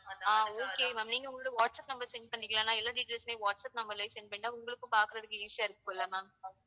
ஆஹ் okay ma'am நீங்க உங்களோட WhatsApp number send பண்றீங்களா? நான் எல்லா details உமே வாட்ஸ்அப் number லயே send பண்ணிட்டா உங்களுக்கும் பார்க்கிறதுக்கு easy ஆ இருக்கு இல்ல ma'am